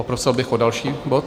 Poprosil bych o další bod.